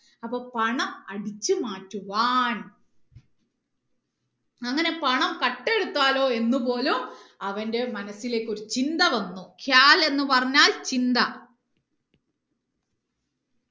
അപ്പൊ പണം അടിച്ചു മാറ്റുവാൻ അങ്ങനെ പണം കട്ടെടുത്താലോ എന്ന് പോലും അവന്റെ മനസിലേക്ക് ഒരു ചിന്ത വന്നു പറഞ്ഞാൽ ചിന്ത